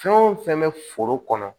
Fɛn o fɛn bɛ foro kɔnɔ